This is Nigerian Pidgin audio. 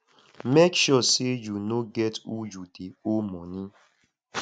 mek sure say yu no get who yu dey owe moni